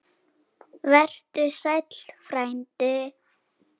Vertu sæll, frændi.